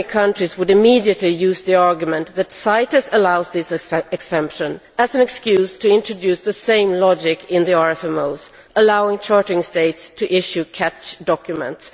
too many countries would immediately use the argument that CITES allows this exemption as an excuse to introduce the same logic in the RFMOs, allowing chartering states to issue catch documents.